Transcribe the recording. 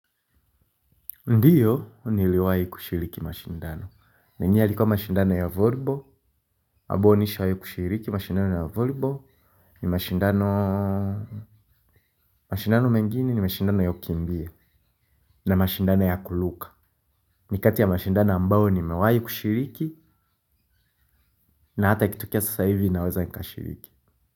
Ndiyo, niliwai kushiriki mashindano. Ndiyo, niliwai kushiriki mashindano ya volebo. Habuwa nisho yu kushiriki mashindano ya volebo. Ni mashindano wa mashindano mengini ni mashindano ya kukimbia. Na mashindano ya kuluka. Ni kati ya mashindano ambayo ni mewai kushiriki. Na hata ikitukia sasa hivi naweza nikashiriki.